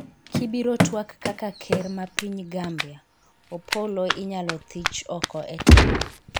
kibiro twak kaka ker ma piny Gambia, Opollo inyalo thich oko e telo